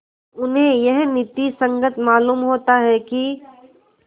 उन्हें यह नीति संगत मालूम होता है कि